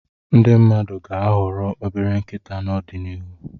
Ndi mmadụ ga-ahọrọ obere nkịta n'ọdịnihu.